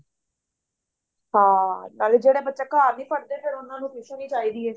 ਹਾਂ ਨਾਲੇ ਜਿਹੜੇ ਬੱਚੇ ਘਰ ਨਹੀਂ ਪੜ੍ਹਦੇ ਫੇਰ ਉਹਨਾਂ ਨੂੰ tuition ਹੀ ਚਾਹੀਦੀ ਐ